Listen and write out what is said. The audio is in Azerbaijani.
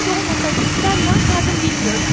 Siz olmasaydınız mən nə yapardım, bilmiyorum.